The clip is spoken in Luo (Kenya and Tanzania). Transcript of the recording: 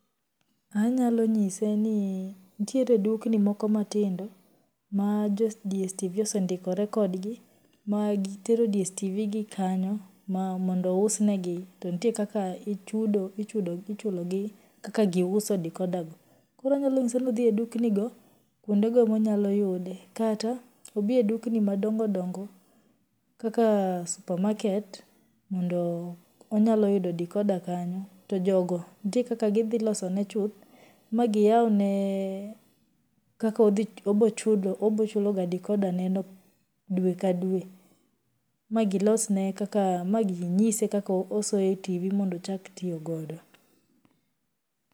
Anyalonyise ni nitiere dukni moko matindo, ma joi DSTV osendikre kodgi ma gitero DSTV gi kanyo, ma mondo ousnegi ,to nitie kaka ichudo ichudo ichulogi kaka giuso decorder go, koro anyalonyise ni odhii e duknigo kwondego ema onyayude kata odhii e dukni madongodongo kaka supermarket mondo onyaloyudo decorder kanyo, to jogo nitie kaka gidhiloso ne chuth ma giyawne kaka odhich obochulo obochulkoga decorderneno dwe ka dwe, ma gilosne kaka ma ginyise kaka osoyo e TV mondo ochak tiyo godo